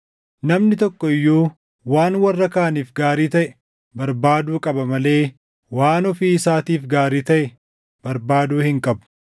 Namni tokko iyyuu waan warra kaaniif gaarii taʼe barbaaduu qaba malee waan ofii isaatiif gaarii taʼe barbaaduu hin qabu.